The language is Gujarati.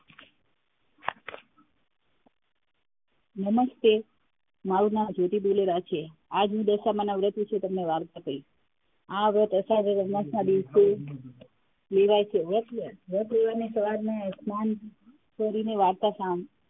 નમસ્તે, મારૂ નામ જ્યોતિ દોલેરા છે. આજ હું દશામાંના વ્રત વિષે તમને વાર્તા કહીશ આ વ્રત અષાઢ દિવશે લેવાય છે વ્રત લેવાની સવાર ને સ્નાન કરીને વાર્તા,